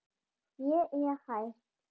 Ég er hætt.